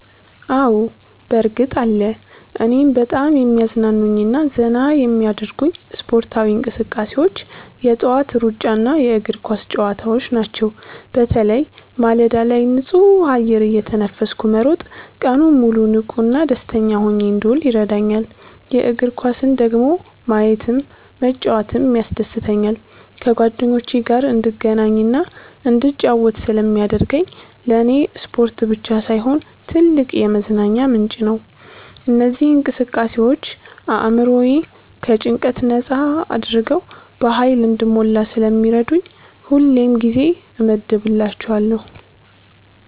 አዎ፣ በእርግጥ አለ! እኔን በጣም የሚያዝናኑኝና ዘና የሚያደርጉኝ ስፖርታዊ እንቅስቃሴዎች የጠዋት ሩጫና የእግር ኳስ ጨዋታዎች ናቸው። በተለይ ማለዳ ላይ ንጹህ አየር እየተነፈስኩ መሮጥ ቀኑን ሙሉ ንቁና ደስተኛ ሆኜ እንድውል ይረዳኛል። የእግር ኳስን ደግሞ ማየትም መጫወትም ያስደስተኛል። ከጓደኞቼ ጋር እንድገናኝና እንድጫወት ስለሚያደርገኝ ለኔ ስፖርት ብቻ ሳይሆን ትልቅ የመዝናኛ ምንጭ ነው። እነዚህ እንቅስቃሴዎች አእምሮዬን ከጭንቀት ነጻ አድርገው በሃይል እንድሞላ ስለሚረዱኝ ሁሌም ጊዜ እመድብላቸዋለሁ።